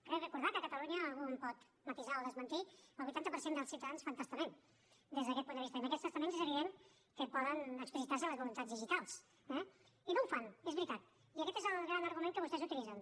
crec recordar que a catalunya algú em pot matisar o desmentir el vuitanta per cent dels ciutadans fan testament des d’aquest punt de vista i en aquests testaments és evident que poden explicitar se les voluntats digitals eh i no ho fan és veritat i aquest és el gran argument que vostès utilitzen